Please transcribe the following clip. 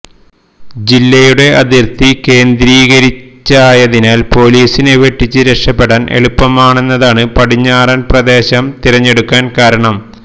ജില്ലയുടെ അതിർത്തി കേന്ദ്രീകരിച്ചായതിനാൽ പൊലീസിനെ വെട്ടിച്ച് രക്ഷപെടാൻ എളുപ്പമാണെന്നതാണ് പടിഞ്ഞാറൻ പ്രദേശം തിരഞ്ഞെടുക്കാൻ കാരണം